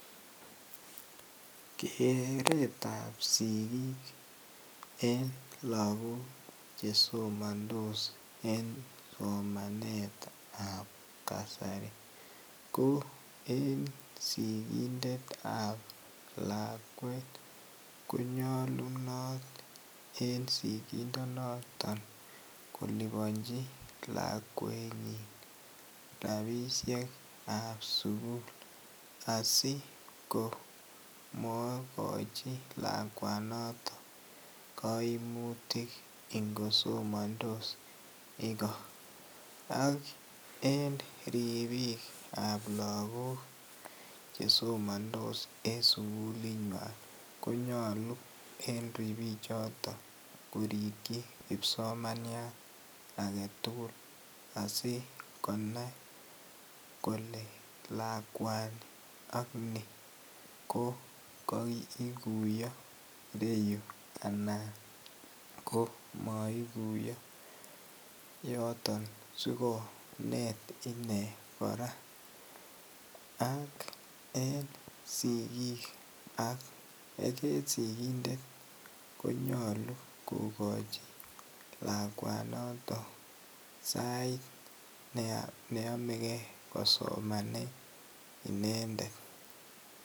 Keretab sikik en lokok chesomondos en somanetab kasari ko en sikindetab lakwet konyolunot en sikindonoton kolibonchi lakwenyin rabishekab sukul asi ko mokochi lakwanoton koimutik ingosomondos ikoo, ak en ribiikab lokok chesomondos en sukulinywan konyolu en ribichoton korikyi kipsomaniat aketukul asikonai kolee lakwani ak nii ko koikuiyo ireyu anan ko moikuiyo yoton asikonet inee kora ak en sikiik ak en sikindet konyolu kokochi lakwanoton sait neyomeke kosomanen inendet.